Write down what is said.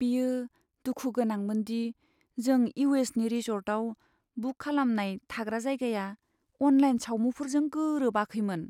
बेयो दुखु गोनांमोन दि जों इउ.एस.नि रिसर्टआव बुक खालामनाय थाग्रा जायगाया अनलाइन सावमुफोरजों गोरोबाखैमोन।